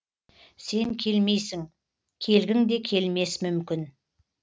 сен келмейсің келгіңде келмес мүмкін